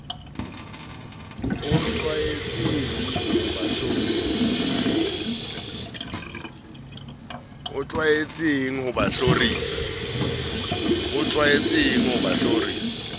o tlwaetseng ho ba hlorisa